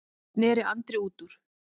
sneri Andri út úr.